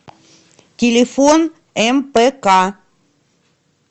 телефон мпк